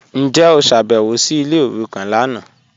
Njẹ o ṣábẹ̀wò sí ilẹ̀ orúkàn lánà?